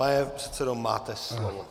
Pane předsedo, máte slovo.